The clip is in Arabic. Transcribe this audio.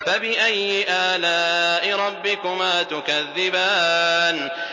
فَبِأَيِّ آلَاءِ رَبِّكُمَا تُكَذِّبَانِ